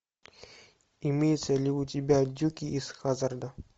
имеется ли у тебя дюки из хаззарда